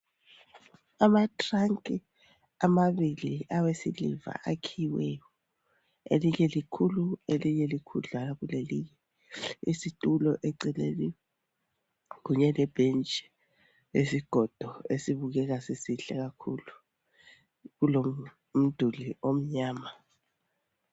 Amathiranki amabili awesiliva akhiyiweyo. Elinye likhulu elinye likhudlwa kulelinye. Isitulo eceleni kunye lebhetshi lesigodo esibukheka sisihle kakhulu. Kulo mduli omnyama.